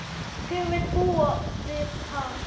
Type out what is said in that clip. Hver vill búa við það?